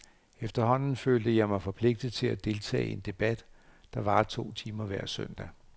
Efterhånden følte jeg mig forpligtet til at deltage i en debat, der varer to timer hver søndag.